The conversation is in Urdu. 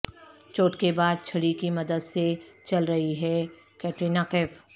چوٹ کے بعد چھڑی کی مدد سے چل رہی ہے کٹرینہ کیف